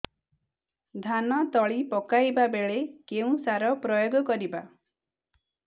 ଧାନ ତଳି ପକାଇବା ବେଳେ କେଉଁ ସାର ପ୍ରୟୋଗ କରିବା